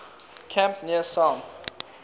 camp near palm